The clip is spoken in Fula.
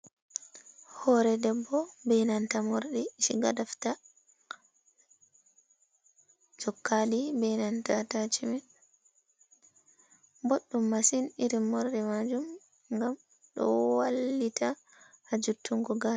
Hore debbo be nanta morɗi shiga da fita. Jokkaɗi be nanta ta atashimen. Boɗɗum on masin Irin morɗi majum, gam ɗo wallita ha jottungo gasa.